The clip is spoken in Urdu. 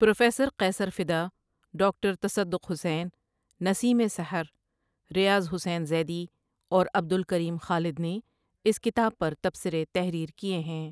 پروفیسر قیصر فداؔ، ڈاکٹر تصدق حسین، نسیم ِسحر، ریاض حسین زیدی اور عبدالکریم خالدؔ نے اس کتاب پر تبصرے تحریر کیے ہیں۔